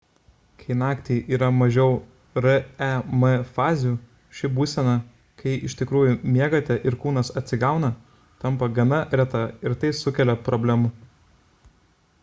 kai naktį yra mažiau rem fazių ši būsena kai iš tikrųjų miegate ir kūnas atsigauna tampa gana reta ir tai sukelia problemų